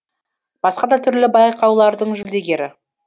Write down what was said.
басқа да түрлі байқаулардың жүлдегері